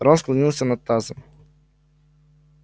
рон склонился над тазом